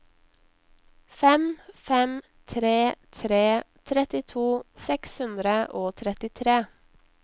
fem fem tre tre trettito seks hundre og trettitre